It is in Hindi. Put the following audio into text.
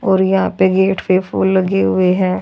और यहां पे गेट पे फूल लगे हुए हैं।